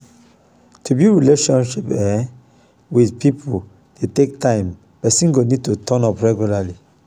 to build relationship um with pipo dey take time person go need to turn up regularly